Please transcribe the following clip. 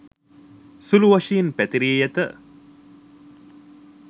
සුළු වශයෙන් පැතිරී ඇත.